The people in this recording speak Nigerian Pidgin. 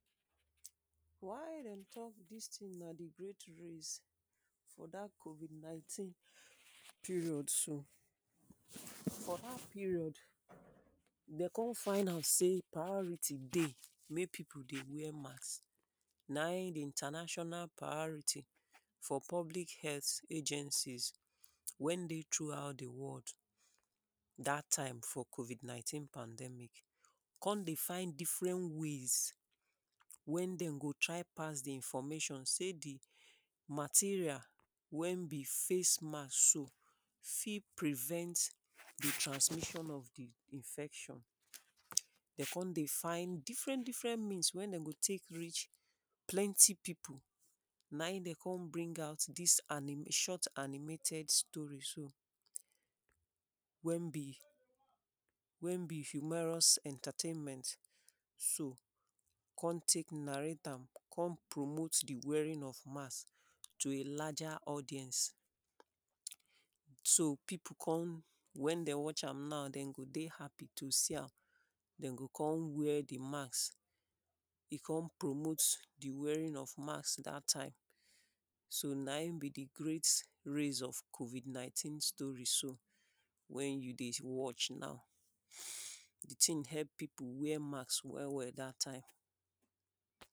Why dem talk dis tin na di great race for dat covid ninteen period so, for dat period dem kon find out sey priority dey make pipu dey wear masks naim di International priority for public health agencies wey dey throughout di world dat time for covid nineteen pandemic kon dey find different ways wey dem go try pass di information sey di material wey be face masks so fit prevent transmission of infection, dem kon dey find different different means wey dem go take meet different pipu, naim dem kon bring out dis animation short animated story so wey be, wey be fumerious entertainment so kon take narrate am kon promote di wearing of mask to a larger audience, so pipu kon wen dey watch am now dem go dey happy to see am dem go kon wear di mask e kon promote di wearing of mask dat time so naim be di great race of covid ninteen story so wey you dey watch now, di tin help pipu wear mask well well dat time.